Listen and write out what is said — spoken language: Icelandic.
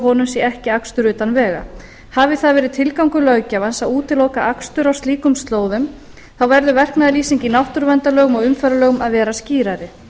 honum sé ekki akstur utan vega hafi það verið tilgangur löggjafans að útiloka akstur á slíkum slóðum þá verður verknaðarlýsing í náttúruverndarlögum og umferðarlögum að vera skýrari